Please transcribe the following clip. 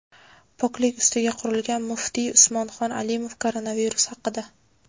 poklik ustiga qurilgan – muftiy Usmonxon Alimov koronavirus haqida.